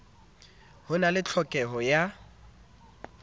ho na le tlhokeho ya